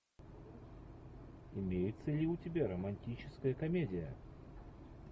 имеется ли у тебя романтическая комедия